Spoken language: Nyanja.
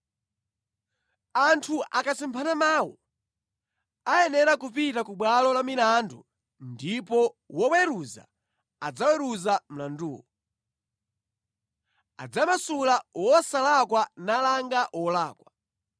Anthu akasemphana mawu, ayenera kupita ku bwalo la milandu ndipo woweruza adzaweruza mlanduwo. Adzamasula wosalakwa nalanga wolakwa.